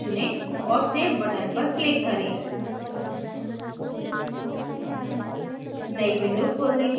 स्थान desktop चुनें और save button पर click करें